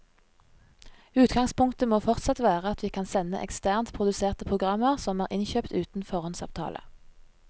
Utgangspunktet må fortsatt være at vi kan sende eksternt produserte programmer som er innkjøpt uten foråndsavtale.